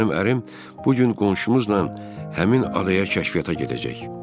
Mənim ərim bu gün qonşumuzla həmin adaya kəşfiyyata gedəcək.